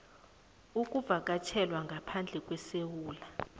ukuvakatjhela ngaphandle kwesewula